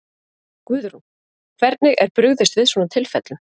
Guðrún, hvernig er brugðist við svona tilfellum?